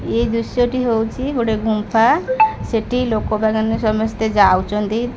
ଏହି ଦୃଶ୍ୟ ହେଉଛି ଗୋଟେ ଗୁମ୍ପା ସେଠି ଲୋକ ମାନେ ସମସ୍ତେ ଯାଉଛନ୍ତି।